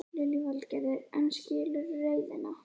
Lillý Valgerður: En skilurðu reiðina?